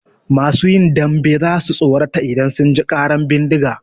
Masu yin dambe za su tsorata idan sun ji ƙaran bindiga.